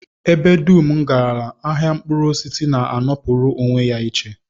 Ebe dum m garala, ahịa mkpụrụosisi na-anọpụrụ onwe ya iche